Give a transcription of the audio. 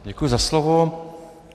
Děkuji za slovo.